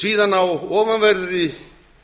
síðan á ofanverðri